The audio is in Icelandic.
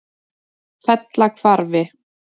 Fellahvarfi